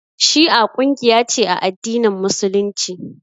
Shi'a kungiya ce a addinin Musulunci.